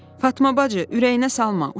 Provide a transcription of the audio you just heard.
Fatma bacı, ürəyinə salma, uşaqdır.